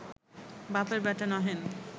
বাপের বেটা নহেন